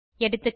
எகா